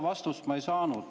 Vastust ma ei saanud.